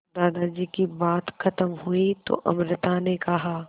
दादाजी की बात खत्म हुई तो अमृता ने कहा